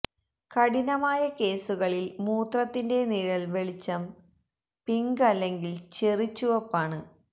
കഠിനമായ കേസുകളിൽ മൂത്രത്തിന്റെ നിഴൽ വെളിച്ചം പിങ്ക് അല്ലെങ്കിൽ ചെറി ചുവപ്പാണ്